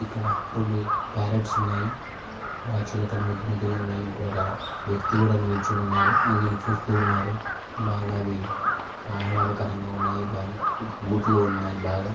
ఇక్కడ రెండు పర్రోట్స్ ఉన్నాయి బాగ్ చిలుకలు ముద్దు ముద్దు గా ఉన్నాయి ఇక్కడ ఒక వ్యక్తి కూడా నిలుచొని ఉన్నాడు అందరిని చూస్తూ ఉన్నాడు బాగా అవి ఆహ్లాదకరంగా ఉన్నాయి పా గూట్లో ఉన్నాయి బాగా.